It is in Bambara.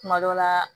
Kuma dɔ la